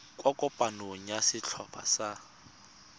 kwa kopanong ya setlhopha sa